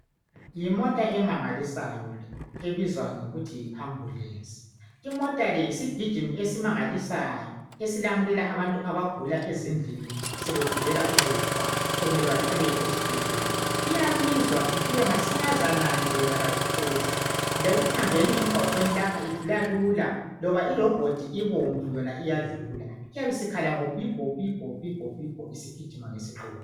Yimota emangalisayo le ebizwa ngokuthi yi ambulensi. Imota le yisigijimi esimangalisayo esilamulela abantu abagula ezindlini sebegulela ukufa sokumele bathwalelwe ezibhedlela. Iyabizwa ifike masinyazana nje yona ayiphuzi, lekuhambeni emgwaqweni lapha idlula lula loba irobhodi ibomvu yona iyadlula. Iyabisikhala ngo pibho...pibho...pibho...pibho isigijima ngesiqubu